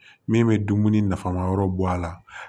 Min bɛ dumuni nafama yɔrɔ bɔ a la